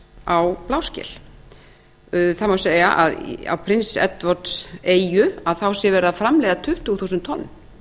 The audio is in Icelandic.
á bláskel það má segja að á prince edwardeyju sé verið að framleiða tuttugu þúsund tonn